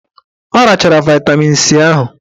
Ọ rachachara vaịtamin C ahụ.